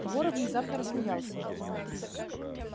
горов внезапно рассмеялся